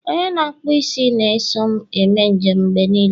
onye na-akpụ m isi na-eso m eme njem mgbe niile